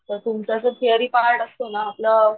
जस theory part असतो ना आपलं